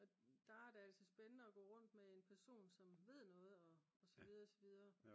og der er det altså spændende at gå rundt med en person som ved noget og så videre og så videre